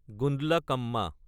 Gundlakamma